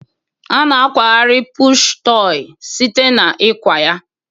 A na akwagharị pụshụ tọị site na ịkwa ya.